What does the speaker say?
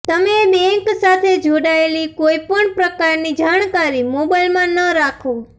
તમે બેન્ક સાથે જોડાયેલી કોઈ પણ પ્રકારની જાણકારી મોબાઈલમાં ન રાખો